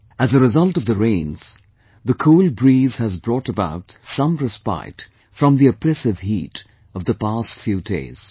As a result of the rains, the cool breeze has brought about some respite from the oppressive heat of past few days